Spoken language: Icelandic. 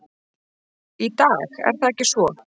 Í dag er það ekki svo.